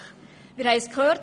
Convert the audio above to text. Wir haben es gehört: